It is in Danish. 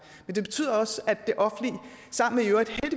men det betyder også at det offentlige